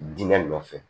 Diinɛ nɔfɛ